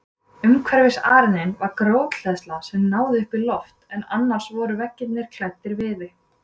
Umhverfis arininn var grjóthleðsla sem náði upp í loft en annars voru veggirnir klæddir viði.